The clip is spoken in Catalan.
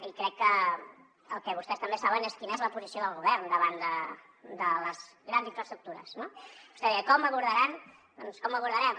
i crec que el que vostès també saben és quina és la posició del govern davant de les grans infraestructures no vostè deia com abordaran